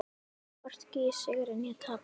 Hvorki í sigri né tapi.